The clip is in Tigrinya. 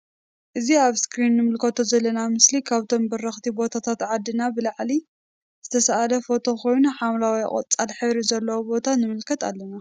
እዚ አብ እስክሪን እንምልከቶ ዘለና ምስሊ ካብቶም በረክቲ ቦታታት ዓድና ብላዕሊ ዝተሰአለ ፎቶ ኮይኑ ሓምለዋይ ቆፃል ሕብሪ ዘለዎ ቦታ ንምልከት አለና::